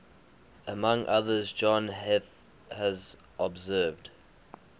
among others john heath has observed